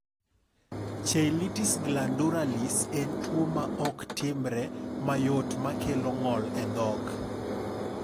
Cheilitis glandularis en tuwo ma ok timre mayot ma kelo ng’ol e dhok.